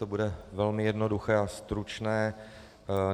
To bude velmi jednoduché a stručné.